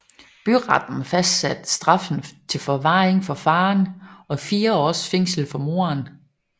Byretten fastsatte straffen til forvaring for faren og 4 års fængsel for moren